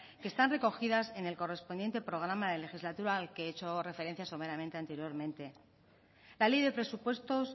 que están recogidas en el correspondiente programa de legislatura al que he hecho referencia someramente anteriormente la ley de presupuestos